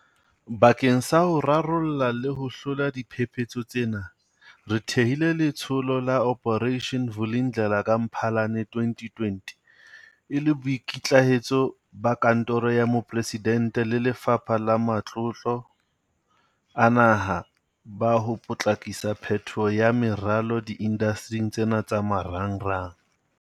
Bakeng sa ho rarolla le ho hlola diphephetso tsena, re thehile Letsholo la Operation Vulindlela ka Mphalane 2020 e le boikitlahetso ba Kantoro ya Moporesidente le Lefapha la Matlotlo a Naha ba ho potlakisa phetoho ya meralo diindastering tsena tsa marangrang.